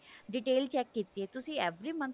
detail check ਕੀਤੀ ਤੁਸੀਂ every month